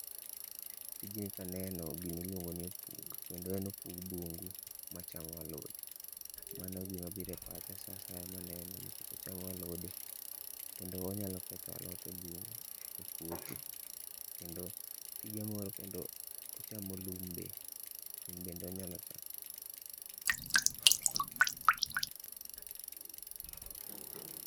Tijni kaneno gini en opuk, Kendo opug bungu machamo alode. Mano gima biro e pacha saa asaya maneno nikech ochamo alode. Kendo onyalo ketho alot ebung e puothi. Kendo tije moro kendo ochamo lum be. Lum be onyalo chamo.